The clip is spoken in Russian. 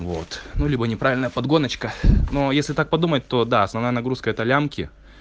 вот ну либо неправильная подгонка но если так подумать то да основная нагрузка это лямки